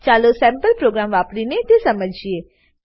ચાલો sample program વાપરીને તેને સમજીએ